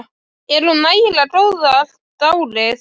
Er hún nægilega góð allt árið?